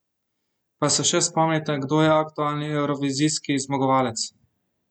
Pa se še spomnite, kdo je aktualni evrovizijski zmagovalec?